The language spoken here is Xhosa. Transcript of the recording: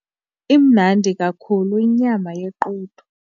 Imnandi kakhulu inyama yequdu.